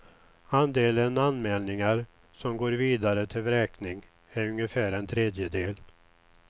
Andelen anmälningar som går vidare till vräkning är ungefär en tredjedel.